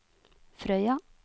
Frøya